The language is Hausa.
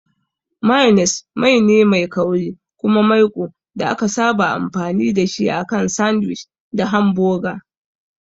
Mayones mai ne mai kauri kuma maiko da aka saba amfani da shi akan sandwich da hamboga.